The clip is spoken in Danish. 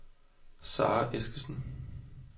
Sarah Eskesen